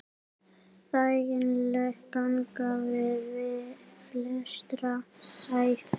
Þægileg ganga við flestra hæfi.